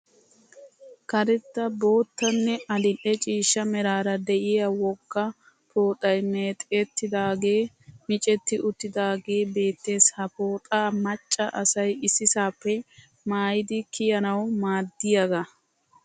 Karetta bottanne adil'e ciishsha meraara de'iyaa wogga pooxay meexettidaagee micetti uttidaagee beettes. Ha pooxaa macca asay issisaappe maayidi kiyanawu maaddiyaagaa.